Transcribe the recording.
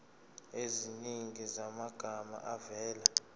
eziningi zamagama avela